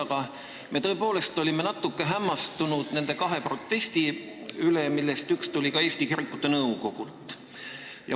Samas me olime natuke hämmastunud kahe protesti üle, millest üks tuli Eesti Kirikute Nõukogult.